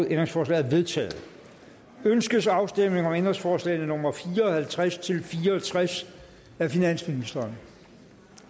ændringsforslaget er vedtaget ønskes afstemning om ændringsforslag nummer fire og halvtreds til fire og tres af finansministeren